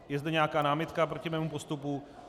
Je zde nějaká námitka proti mému postupu?